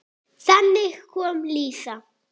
Þannig kom Lísa.